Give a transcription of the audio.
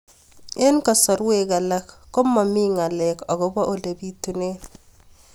Eng' kasarwek alak ko mami ng'alek akopo ole pitunee